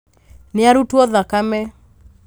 Nĩarutwo thakame